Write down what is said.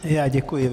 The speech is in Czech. Já děkuji.